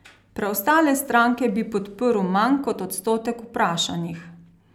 Preostale stranke bi podprl manj kot odstotek vprašanih.